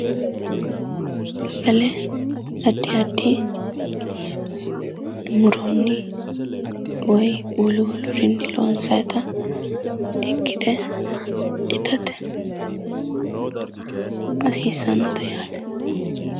Sagale addi addi muronni woyi wolu wolurinni loonsayita ikkite itate hasiissannote yaate